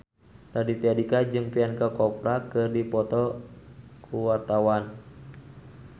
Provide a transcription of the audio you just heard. Raditya Dika jeung Priyanka Chopra keur dipoto ku wartawan